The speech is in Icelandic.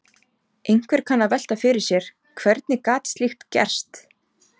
Einhver kann að velta fyrir sér: Hvernig gat slíkt gerst?